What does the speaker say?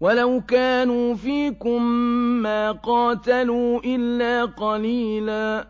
وَلَوْ كَانُوا فِيكُم مَّا قَاتَلُوا إِلَّا قَلِيلًا